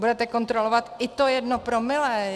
Budete kontrolovat i to jedno promile.